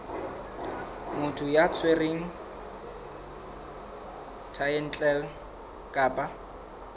motho ya tshwereng thaetlele kapa